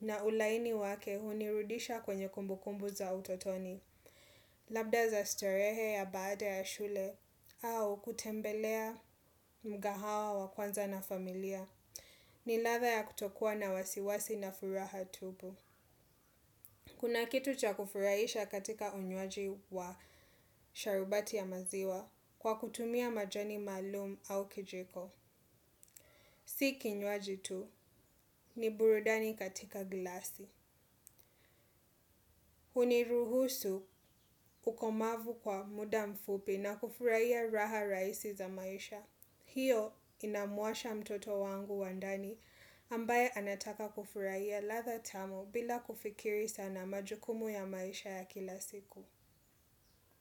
na ulaini wake hunirudisha kwenye kumbu kumbu za utotoni. Labda za starehe ya baada ya shule au kutembelea mgahawa wa kwanza na familia. Ni ladha ya kutokua na wasiwasi na furaha tupu. Kuna kitu cha kufurahisha katika unywaji wa sharubati ya maziwa kwa kutumia majani maalum au kijiko. Siki nyuaji tu ni burudani katika glasi. Huniruhusu ukomavu kwa muda mfupi na kufurahia raha rahisi za maisha. Hiyo inamuasha mtoto wangu wandani ambaye anataka kufurahia ladha tamu bila kufikiri sana majukumu ya maisha ya kila siku.